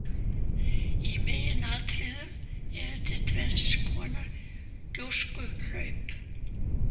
Í meginatriðum eru til tvenns konar gjóskuhlaup.